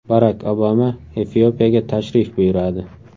Barak Obama Efiopiyaga tashrif buyuradi.